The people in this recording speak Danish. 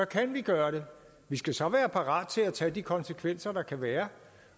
kan vi gøre det vi skal så være parate til at tage de konsekvenser der kan være